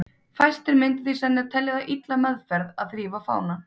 Fæstir myndu því sennilega telja það illa meðferð að þrífa fánann.